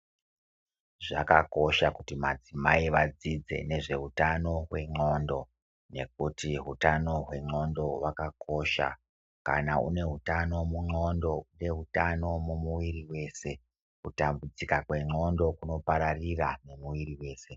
Zvakakosha kuti madzimai vadzidze nezveutano hwendxondo. Nekuti utano hwendxondo hwakakosha. Kana une hutano mundxondo unehutano mumuiri wese. Kutambudzika kwendxondo kunopararira nemuiri wese.